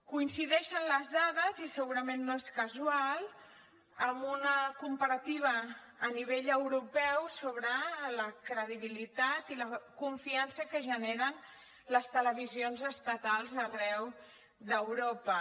coincideixen les dades i segurament no és casual amb una comparativa a nivell europeu sobre la credibilitat i la confiança que generen les televisions estatals arreu d’europa